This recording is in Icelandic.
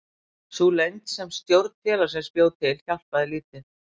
Sú leynd sem stjórn félagsins bjó til hjálpaði lítið.